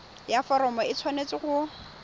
ya foromo e tshwanetse go